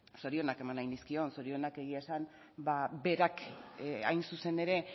zorionak eman nahi nizkion zorionak egia esan berak hain zuzen ere